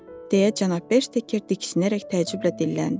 deyə cənab Bersteker diksinərək təcüblə dilləndi.